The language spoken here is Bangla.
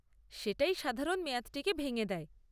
সেটাই সাধারণত মেয়াদটিকে ভেঙে দেয়।